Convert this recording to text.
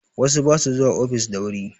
Wasu ba su zuwa ofis da wuri